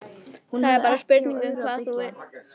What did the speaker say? Það er bara spurning um hvort þú viljir þiggja hjálpina.